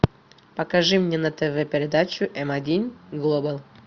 покажи мне на тв передачу м один глобал